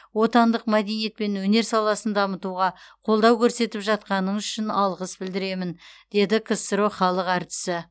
отандық мәдениет пен өнер саласын дамытуға қолдау көрсетіп жатқаныңыз үшін алғыс білдіремін деді ксро халық әртісі